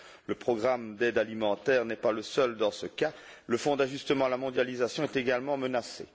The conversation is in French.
Le programme d'aide alimentaire n'est pas le seul dans ce cas, le Fonds d'ajustement à la mondialisation est également menacé.